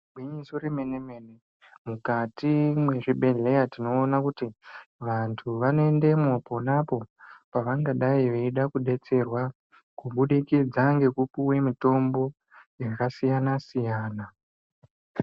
Gwinyiso remene -mene .Mukati mezvibhlehleya tinoona kutivantu vanoendemwo ponapoo vangadai vaida kudetserwa kubudikidza ngekupuwe mitombo yakasiyana- siyana.